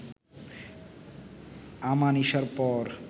আমানিশার পর